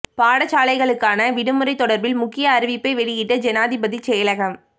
பாடசாலைகளுக்கான விடுமுறை தொடர்பில் முக்கிய அறிவிப்பை வெளியிட்ட ஜனாதிபதி செயலகம்